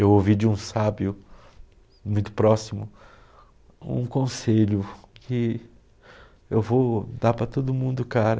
Eu ouvi de um sábio muito próximo um conselho que eu vou dar para todo mundo, cara.